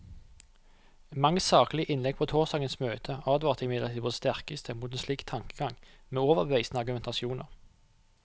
Mange saklige innlegg på torsdagens møte advarte imidlertid på det sterkeste mot en slik tankegang, med overbevisende argumentasjoner.